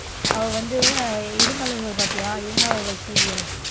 அவ வந்து, இருமலர்கள் பாப்பியா? இருமலர்கள் serial.